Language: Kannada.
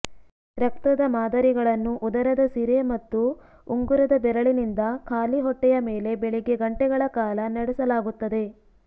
ರಕ್ತದ ಮಾದರಿಗಳನ್ನು ಉದರದ ಸಿರೆ ಮತ್ತು ಉಂಗುರದ ಬೆರಳಿನಿಂದ ಖಾಲಿ ಹೊಟ್ಟೆಯ ಮೇಲೆ ಬೆಳಿಗ್ಗೆ ಗಂಟೆಗಳ ಕಾಲ ನಡೆಸಲಾಗುತ್ತದೆ